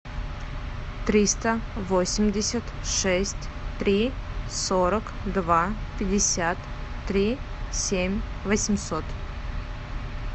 триста восемьдесят шесть три сорок два пятьдесят три семь восемьсот